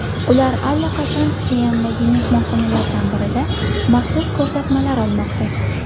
Ular allaqachon Pxenyandagi mehmonxonalardan birida maxsus ko‘rsatmalar olmoqda.